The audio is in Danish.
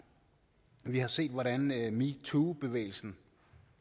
vi har set hvordan metoo bevægelsen